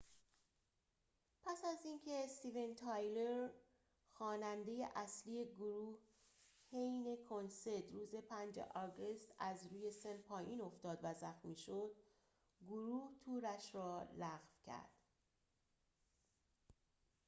پس از اینکه استیون تایلر خواننده اصلی گروه حین کنسرت روز ۵ آگوست از روی سن پایین افتاد و زخمی شد گروه تورش را لغو کرد